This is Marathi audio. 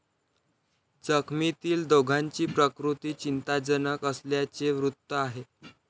जखमीतील दोघांची प्रकृती चिंताजनक असल्याचे वृत्त आहे.